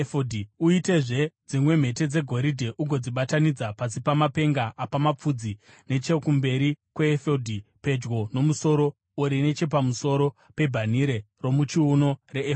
Uitezve dzimwe mhete dzegoridhe ugodzibatanidza pasi pemapenga apamapfudzi nechokumberi kweefodhi, pedyo nomusono uri nechapamusoro pebhanhire romuchiuno reefodhi.